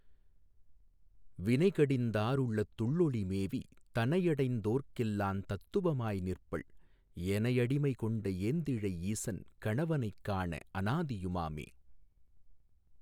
வினைகடிந் தாருள்ளத் துள்ளொளி மேவித் தனையடைந் தோர்க்கெல்லாந் தத்துவ மாய்நிற்பள் எனையடி மைகொண்ட ஏந்திழை ஈசன் கணவனைக் காண அனாதியு மாமே.